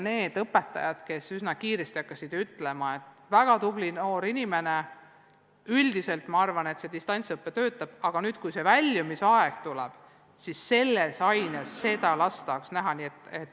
Oli õpetajaid, kes üsna kiiresti ütlesid, et noored on väga tublid ja et üldiselt nende arvates see distantsõpe töötab, aga kui väljumisaeg tuleb, siis selles konkreetses aines seda konkreetset last tahaks siiski näha.